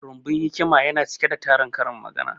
Rumbun hikima yana cike da tarin karin magana